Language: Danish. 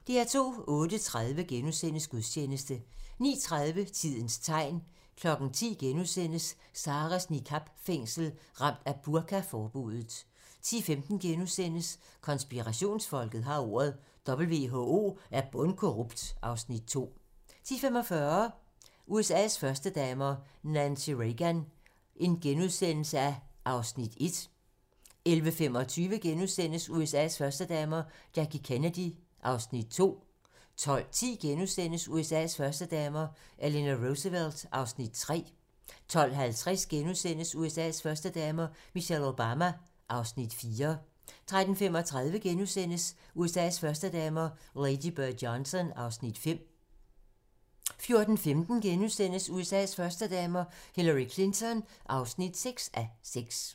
08:30: Gudstjeneste * 09:30: Tidens tegn 10:00: Sarahs niqab-fængsel - Ramt af burka-forbuddet * 10:15: Konspirationsfolket har ordet - WHO er bundkorrupt (Afs. 2)* 10:45: USA's førstedamer - Nancy Reagan (1:6)* 11:25: USA's førstedamer - Jackie Kennedy (2:6)* 12:10: USA's førstedamer - Eleanor Roosevelt (3:6)* 12:50: USA's førstedamer - Michelle Obama (4:6)* 13:35: USA's førstedamer - Lady Bird Johnson (5:6)* 14:15: USA's førstedamer - Hillary Clinton (6:6)*